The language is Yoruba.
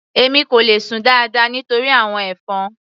Èmi kò le sùn dáadáa nítorí àwọn ẹ̀fọn.